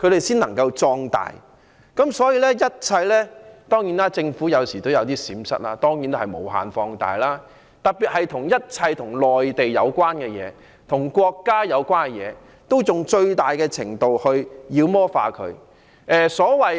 當然，政府有時也會有閃失，那他們當然會抓緊機會把這些閃失無限放大，特別是一切與內地和國家有關的事，進行最大程度的妖魔化。